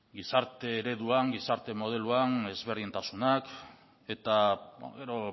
gizarte ereduan gizarte modeluan desberdintasunak eta gero